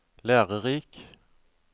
lærerik